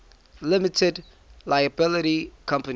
limited liability company